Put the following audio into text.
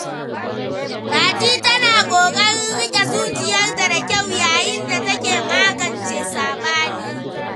Fati tana kokarin rike zuciyarta da kyau yayin da take magance sabani.